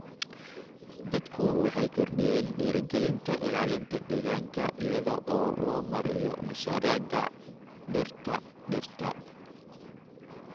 Dadku waxay kordhiyeen dhiirigelinta ilaalinta deegaanka iyada oo loo marayo mashaariicda dhirta dhirta.